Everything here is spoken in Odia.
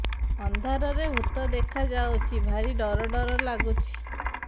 ଅନ୍ଧାରରେ ଭୂତ ଦେଖା ଯାଉଛି ଭାରି ଡର ଡର ଲଗୁଛି